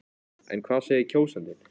En hvað segir kjósandinn?